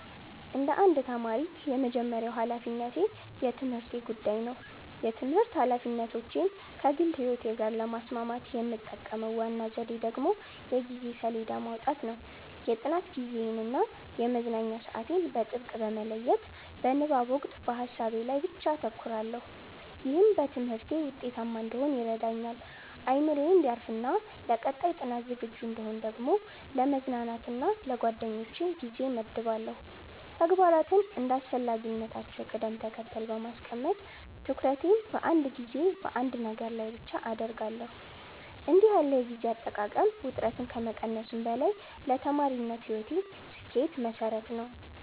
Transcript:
እንደ አንድ ተማሪ፣ የመጀመሪያው ሀላፊነቴ የትምህርቴ ጉዳይ ነው። የትምህርት ኃላፊነቶቼን ከግል ሕይወቴ ጋር ለማስማማት የምጠቀመው ዋናው ዘዴ ደግሞ የጊዜ ሰሌዳ ማውጣት ነው። የጥናት ጊዜዬን እና የመዝናኛ ሰዓቴን በጥብቅ በመለየት፣ በንባብ ወቅት በሀሳቤ ላይ ብቻ አተኩራለሁ። ይህም በትምህርቴ ውጤታማ እንድሆን ይረዳኛል። አእምሮዬ እንዲያርፍና ለቀጣይ ጥናት ዝግጁ እንድሆን ደግሞ ለመዝናናት እና ለጓደኞቼ ጊዜ እመድባለሁ። ተግባራትን እንደ አስፈላጊነታቸው ቅደም ተከተል በማስቀመጥ፣ ትኩረቴን በአንድ ጊዜ በአንድ ነገር ላይ ብቻ አደርጋለሁ። እንዲህ ያለው የጊዜ አጠቃቀም ውጥረትን ከመቀነሱም በላይ ለተማሪነት ሕይወቴ ስኬት መሠረት ነው።